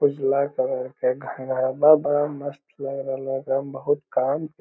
उजला कलर के घागरवा बड़ा मस्त लगरहला हे एकदम बहुत काम के --